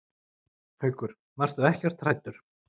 Haukur: Varstu ekkert hræddur?